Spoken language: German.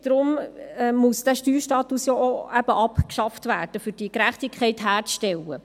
Deshalb muss der Steuerstatus auch abgeschafft werden, um diese Gerechtigkeit herzustellen.